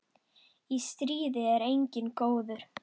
Í stríði er enginn góður.